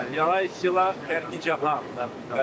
Yox, o birisilər Xankəndi, Cahan.